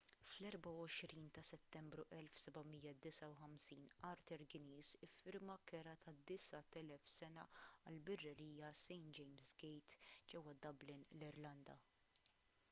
fl-24 ta' settembru 1759 arthur guinness iffirma kera ta' 9,000 sena għall-birrerija st james' gate ġewwa dublin l-irlanda